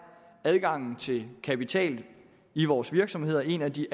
adgangen til kapital i vores virksomheder en af de